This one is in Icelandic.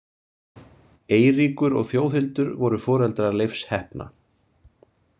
Eiríkur og Þjóðhildur voru foreldrar Leifs heppna.